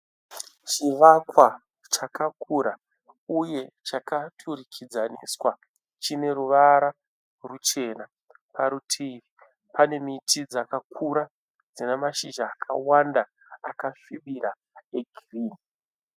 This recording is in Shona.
Chivakwa chakakura uye chakaturikidzaniswa. Chine ruvara ruchena. Parutivi pane miti dzakakura dzine mashizha akawanda akasvibira egirinhi